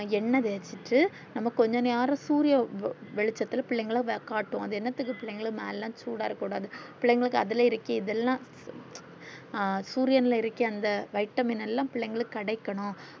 அஹ் எண்ண தேச்சிட்டு நம்ம கொஞ்ச நேரம் சூரிய வெளிச்சத்துள்ள பிள்ளைகள காட்டுவோம் அத என்னத்துக்கு பிள்ளைங்க மேல சூடா இருக்க கூடாது பிள்ளைகளுக்கு அதுல இருக்கு அதுல்லா அஹ் சூரியன்லா இருக்குற அந்த vitamin லா பிள்ளைகளுக்கு கிடைக்கணும்